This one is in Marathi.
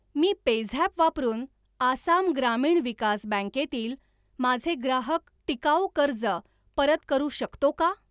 मी पेझॅप वापरून आसाम ग्रामीण विकास बँकेतील माझे ग्राहक टिकाऊ कर्ज परत करू शकतो का?